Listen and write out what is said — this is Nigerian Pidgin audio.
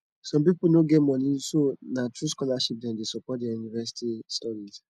some people no get money so nah through scholarship dem dey support their university studies